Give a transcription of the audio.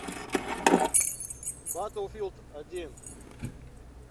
батлфилд один